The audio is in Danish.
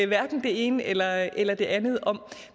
hverken det ene eller eller det andet om